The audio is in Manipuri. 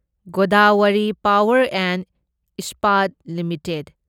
Godavari power and Ispat limited